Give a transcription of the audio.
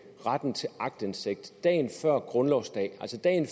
retten til aktindsigt dagen før grundlovsdag altså dagen